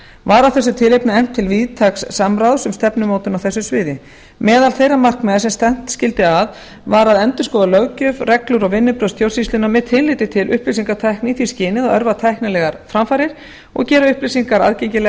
var af þessu tilefni efnt til víðtæks samráðs um stefnumótun á þessu sviði meðal þeirra markmiða sem stefnt skyldi að var að endurskoða löggjöf reglur og vinnubrögð stjórnsýslunnar með tilliti til upplýsingatækni í því skyni að örva tæknilegar framfarir og gera upplýsingar aðgengilegar